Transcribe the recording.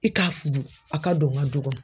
I k'a fudu a ka don n ka du kɔnɔ.